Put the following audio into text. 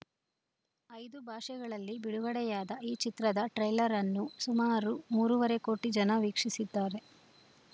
ಐದು ಭಾಷೆಗಳಲ್ಲಿ ಬಿಡುಗಡೆಯಾದ ಈ ಚಿತ್ರದ ಟ್ರೈಲರ್‌ ಅನ್ನು ಸುಮಾರು ಮೂರೂವರೆ ಕೋಟಿ ಜನ ವೀಕ್ಷಿಸಿದ್ದಾರೆ